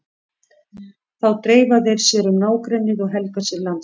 Þá dreifa þeir sér um nágrennið og helga sér landsvæði.